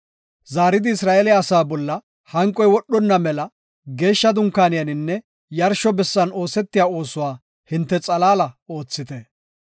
Zaaridi Isra7eele asaa bolla hanqoy wodhonna mela geeshsha dunkaaniyaninne yarsho bessan oosetiya oosuwa hinte xalaala oothite.